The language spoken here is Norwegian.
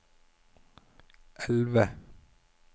elve